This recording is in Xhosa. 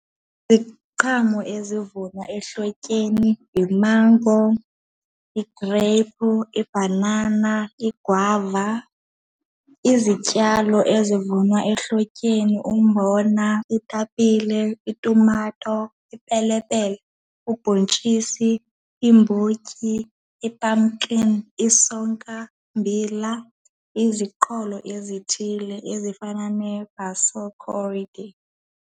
Iziqhamo ezivunwa ehlotyeni yimango, igreyiphu, ibhanana, igwava. Izityalo ezivunwa ehlotyeni, umbona, iitapile, itumato, ipelepele, ubhontshisi, iimbotyi, i-pumpkin, isonkambila, iziqholo ezithile ezifana nee-basil coredy.